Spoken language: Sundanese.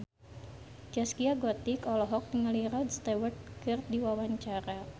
Zaskia Gotik olohok ningali Rod Stewart keur diwawancara